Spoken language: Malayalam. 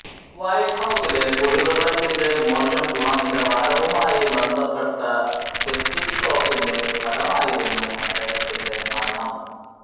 വൈറ്റ് ഹൌസിലെ കുടിവെള്ളത്തിന്റെ മോശം ഗുണനിലവാരവുമായി ബന്ധപ്പെട്ട സെപ്റ്റിക് ഷോക്കിന്റെ ഫലമായിരുന്നു അദ്ദേഹത്തിന്റെ മരണം